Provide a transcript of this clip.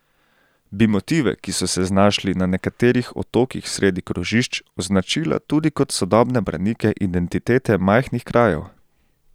Bi motive, ki so se znašli na nekaterih otokih sredi krožišč, označila tudi kot sodobne branike identitete majhnih krajev?